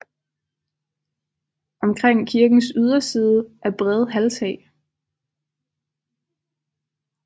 Omkring kirkens yderside er brede halvtag